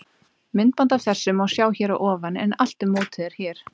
Myndband af þessu má sjá hér að ofan en Allt um mótið er hér.